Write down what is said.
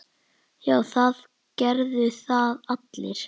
Já, það gerðu það allir.